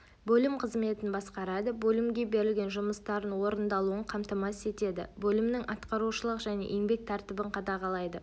бөлім қызметін басқарады бөлімге берілген жұмыстардың орындалуын қамтамасыз етеді бөлімнің атқарушылық және еңбек тәртібін қадағалайды